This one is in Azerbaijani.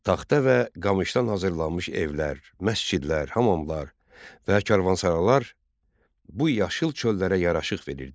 Taxta və qamışdan hazırlanmış evlər, məscidlər, hamamlar və karvansaralar bu yaşıl çöllərə yaraşıq verirdi.